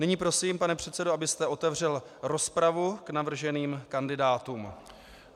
Nyní prosím, pane předsedo, abyste otevřel rozpravu k navrženým kandidátům.